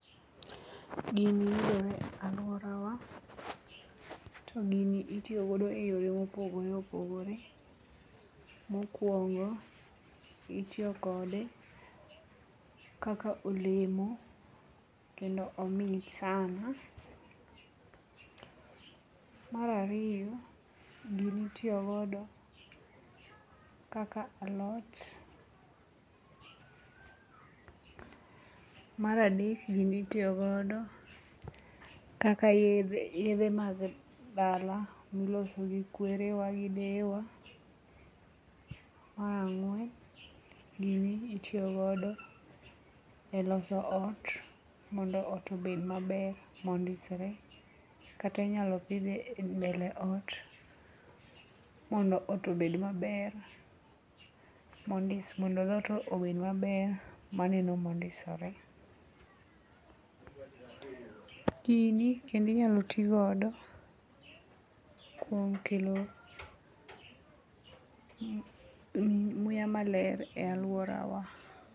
Gini yudore e alworawa to gini itiyo godo e yore mopogore opogore. Mokwongo, itiyo kode kaka olemo kendo omit sana. Mar ariyo, gini itiyo godo kaka alot. Mar adek, gini itiyo godo kaka yedhe mag dala miloso gi kwerewa gi deyewa. Mar ang'wen gini itiyo godo e loso ot mondo ot obed maber, mondisre, kata inyalo pidhe e mbele ot mondo ot obed maber, mondo dhot obed maber maneno mondisore. Gini kendo inyalo ti godo kuom kelo muya maler e alworawa.